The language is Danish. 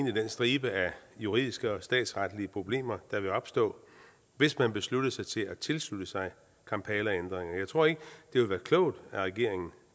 i den stribe af juridiske og statsretlige problemer der ville opstå hvis man besluttede sig til at tilslutte sig kampalaændringerne jeg tror ikke det vil være klogt at regeringen